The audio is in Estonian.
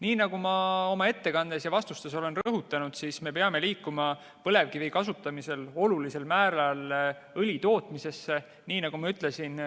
Nii nagu ma oma ettekandes ja vastustes olen rõhutanud, siis me peame liikuma põlevkivi kasutamisel olulisel määral õli tootmise suunas.